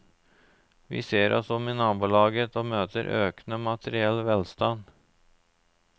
Vi ser oss om i nabolaget og møter økende materiell velstand.